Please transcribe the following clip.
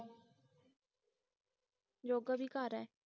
ਜੋਗਾ ਵੀ ਘਰ ਹੈ